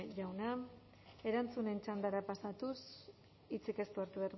jauna erantzunen txandara pasatuz hitzik ez du hartu